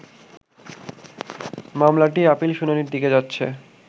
মামলাটি আপিল শুনানির দিকে যাচ্ছে